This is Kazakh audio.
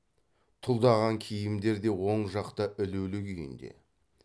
тұлдаған киімдер де оң жақта ілулі күйінде